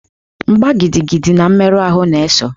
Mgbá gidigidi na mmerụ ahụ na-eso.